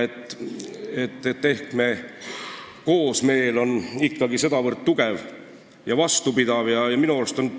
Ehk on me koosmeel ikkagi sedavõrd tugev ja vastupidav.